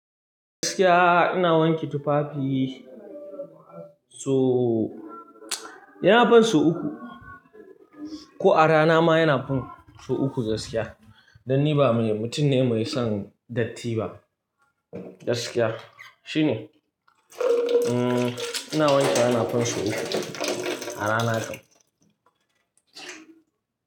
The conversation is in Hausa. Gaskiya ina wanke tufafi so, yana fin so uku. Ko a rana ma yana fan so uku gaskiya. Dan ni ba mai, mutum ne mai son datti ba. Gaskiya shine, umm, ina wanke yana fin so uku a rana ɗin.